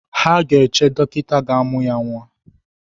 Ha ga-eche dọkịta ga-amụ ya nwa